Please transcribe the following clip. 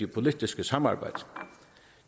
politiske samarbejde